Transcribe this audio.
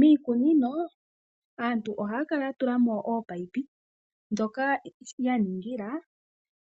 Miikunino aantu ohaya kala ya tula mo ominino ndhoka ya ningila